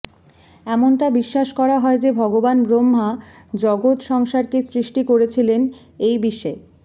এমনটা বিশ্বাস করা হয় যে ভগবান ব্রহ্মা জগত সংসারকে সৃষ্টি করেছিলেন এই বিশে